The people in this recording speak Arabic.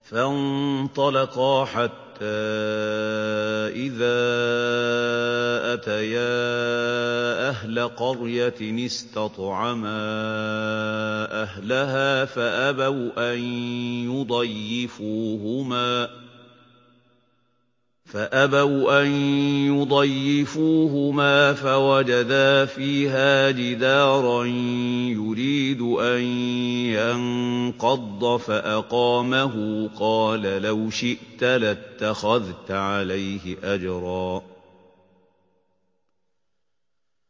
فَانطَلَقَا حَتَّىٰ إِذَا أَتَيَا أَهْلَ قَرْيَةٍ اسْتَطْعَمَا أَهْلَهَا فَأَبَوْا أَن يُضَيِّفُوهُمَا فَوَجَدَا فِيهَا جِدَارًا يُرِيدُ أَن يَنقَضَّ فَأَقَامَهُ ۖ قَالَ لَوْ شِئْتَ لَاتَّخَذْتَ عَلَيْهِ أَجْرًا